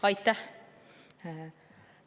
Aitäh!